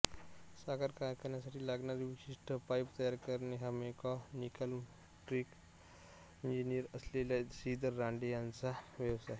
साखर कारखान्यासाठी लागणारे विशिष्ट पाईप तयार करणे हा मेकॅनिकलइलेक्ट्रिकल इंजिनिअर असलेल्या श्रीधर रानडे यांचा व्यवसाय